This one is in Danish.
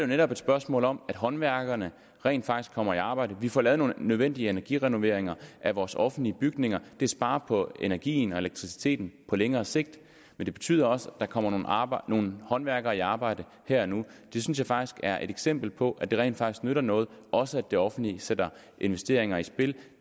netop et spørgsmål om at håndværkerne rent faktisk kommer i arbejde vi får lavet nogle nødvendige energirenoveringer af vores offentlige bygninger det sparer på energien og elektriciteten på længere sigt men det betyder også at der kommer nogle håndværkere i arbejde her og nu det synes jeg faktisk er et eksempel på at det rent faktisk nytter noget også at det offentlige sætter investeringer i spil